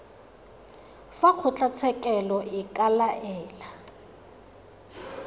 fa kgotlatshekelo e ka laela